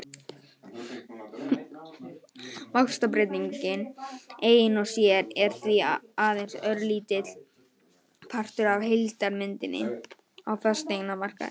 Vaxtabreytingin ein og sér er því aðeins örlítill partur af heildarmyndinni á fasteignamarkaði.